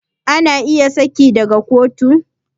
Ana iya saki daga kotu